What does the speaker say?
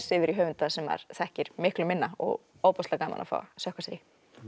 yfir í höfunda sem maður þekkir miklu minna og ofboðslega gaman að fá að sökkva sér í